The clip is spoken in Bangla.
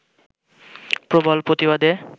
প্রবল প্রতিবাদে